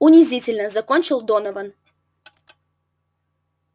унизительно закончил донован